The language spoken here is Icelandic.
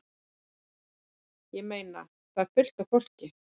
Ég meina. það er fullt af fólki.